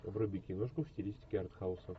вруби киношку в стилистике артхауса